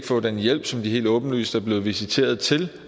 få den hjælp som de helt åbenlyst er blevet visiteret til